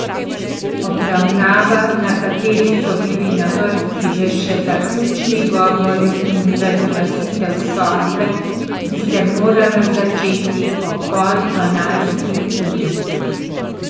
Obravnava, na kateri so bili na vrsti le še zaključni govori in razglasitev sodbe, bi se morala začeti ob pol dvanajsti uri.